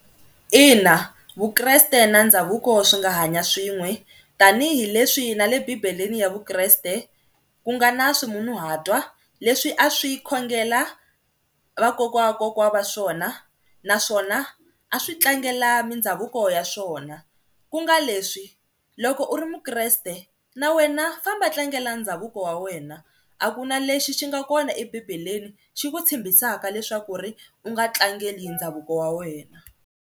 Ina Vukreste na ndhavuko swi nga hanya swin'we tanihileswi na le bibeleni ya Vukreste ku nga na ximunhuhatwa leswi a swi khongela vakokwana wa kokwana wa swona naswona a swi tlangela mindhavuko ya swona, ku nga leswi loko u ri muKreste na wena famba tlangela ndhavuko wa wena a ku na lexi xi nga kona ebibeleni xi ku tshembisaka leswaku ri u nga tlangeli ndhavuko wa wena.